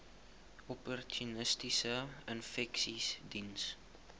opportunistiese infeksies diens